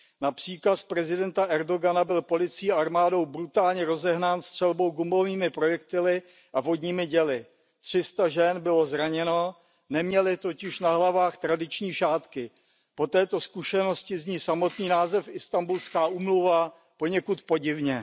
Na příkaz prezidenta Erdogana byl policií a armádou brutálně rozehnán střelbou gumovými projektily a vodními děly. Tři sta žen bylo zraněno, neměly totiž na hlavách tradiční šátky. Po této zkušenosti zní samotný název Islanbulská úmluva poněkud podivně.